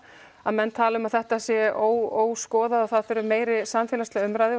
að menn tala um að þetta sé óskoðað og það þurfi meiri samfélagslega umræðu